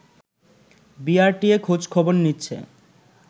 BRTA খোঁজ খবর নিচ্ছে